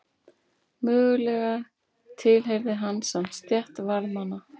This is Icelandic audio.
Mögulega tilheyrði hann samt stétt varðmanna.